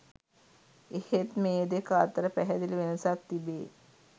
එහෙත් මේ දෙක අතර පැහැදිලි වෙනසක් තිබේ.